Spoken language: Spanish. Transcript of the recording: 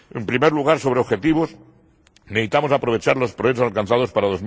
En primer lugar, sobre objetivos necesitamos aprovechar los progresos alcanzados para